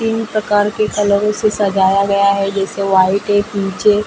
तीन प्रकार के फलों से सजाया गया है जैसे व्हाइट है पिंक --